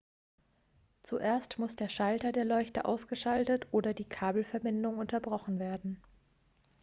zuerst muss der schalter der leuchte ausgeschaltet oder die kabelverbindung unterbrochen werden